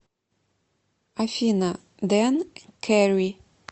афина дэн кэри